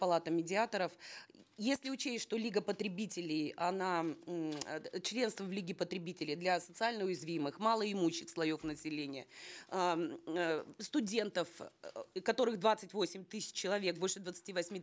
палата медиаторов если учесть что лига потребителей она м э членство в лиге потребителей для социально уязвимых малоимущих слоев населения э м э студентов которых двадцать восемь тысяч человек больше двадцати восьми